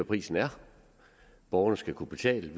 prisen er borgerne skal kunne betale